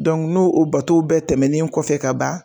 no bato bɛ tɛmɛnen kɔfɛ ka ban.